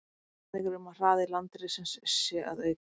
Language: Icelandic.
Vísbendingar eru um að hraði landrissins sé að aukast.